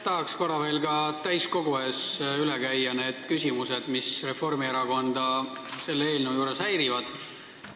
Tahaks korra veel ka täiskogu ees üle käia need küsimused, mis Reformierakonda selle eelnõu juures häirivad.